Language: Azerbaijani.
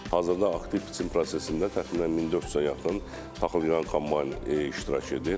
Hazırda aktiv biçin prosesində təxminən 1400-ə yaxın taxılyığan kombayn iştirak edir.